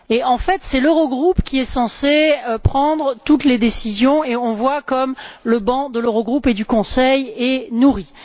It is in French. En fait, c'est l'Eurogroupe qui est censé prendre toutes les décisions et on voit comme le banc de l'Eurogroupe et du Conseil est nourri.